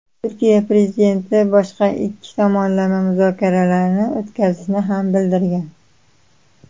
Turkiya prezidenti boshqa ikki tomonlama muzokaralarni o‘tkazishini ham bildirgan.